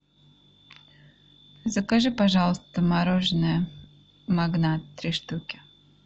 закажи пожалуйста мороженое магнат три штуки